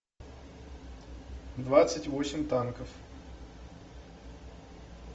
двадцать восемь танков